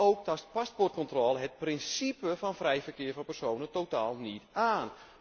Ook tast paspoortcontrole het principe van vrij verkeer van personen totaal niet aan.